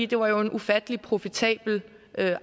det var jo en ufattelig profitabel